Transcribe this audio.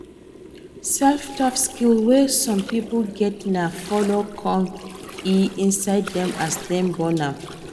self taught skill wey some pipo get na follow come e inside dem as dem born am